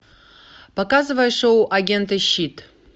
показывай шоу агенты щит